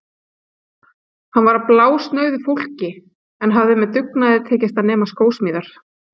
Hann var af blásnauðu fólki en hafði með dugnaði tekist að nema skósmíðar.